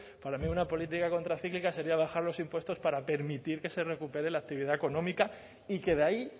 para mí una política contracíclica sería bajar los impuestos para permitir que se recupere la actividad económica y que de ahí